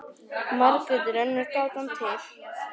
Margrét er önnur gátan til.